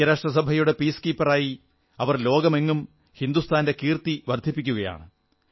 ഐക്യരാഷ്ട്രസഭയുടെ പീസ് കീപ്പറായി സമാധാനപാലകരായി അവർ ലോകമെങ്ങും ഹിന്ദുസ്ഥാന്റെ കീർത്തി വർധിപ്പിക്കുകയാണ്